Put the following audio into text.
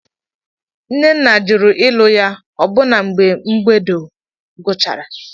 Nnenna jụrụ ịlụ ya ọbụna mgbe mbedo guchara.